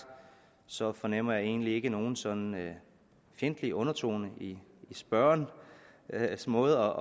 så fornemmer jeg egentlig ikke nogen sådan fjendtlig undertone i spørgerens måde